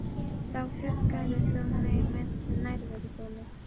Þá huggaðir þú mig með nærveru þinni.